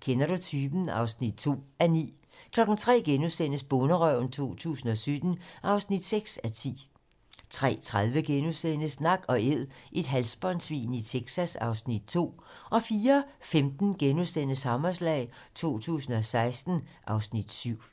Kender du typen? (2:9)* 03:00: Bonderøven 2017 (6:10)* 03:30: Nak & æd - et halsbåndsvin i Texas (Afs. 2)* 04:15: Hammerslag 2016 (Afs. 7)*